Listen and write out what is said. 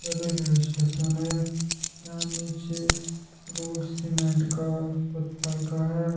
Railway station है। यहाँ नीचे रोड सीमेंट का पत्थल का है।